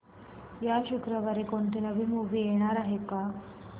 या शुक्रवारी कोणती नवी मूवी येणार आहे का